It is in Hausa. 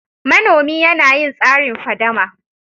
Manomi yana yin tsarin fadama.